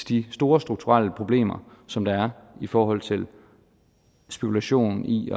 de store strukturelle problemer som der er i forhold til spekulation i